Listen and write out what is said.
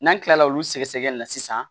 N'an kilala olu sɛgɛsɛgɛli la sisan